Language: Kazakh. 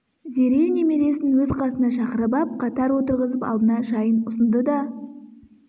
зере немересін өз қасына шақырып ап қатар отырғызып алдына шайын ұсынды да